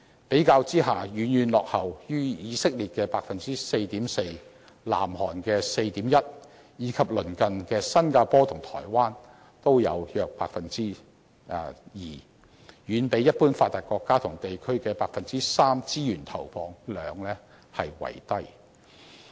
比較之下，遠遠落後於以色列的 4.4%、南韓的 4.1%， 以及鄰近的新加坡和台灣的約 2%， 也遠比一般發達國家和地區的 3% 資源投放量為低。